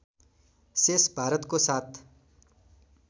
शेष भारतको साथ